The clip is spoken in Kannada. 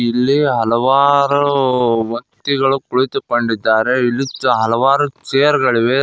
ಇಲ್ಲಿ ಹಲವಾರು ವ್ಯಕ್ತಿಗಳು ಕೊಂಡಿತುಕೊಂಡಿದ್ದಾರೆ ಇಲ್ಲಿ ಹಲವಾರು ಚೇರ್ಗಳಿವೆ.